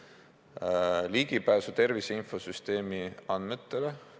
Nad saavad ligipääsu tervise infosüsteemi andmetele.